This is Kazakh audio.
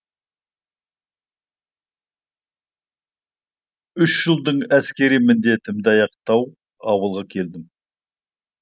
үш жылдың әскери міндетімді аяқтап ауылға келгем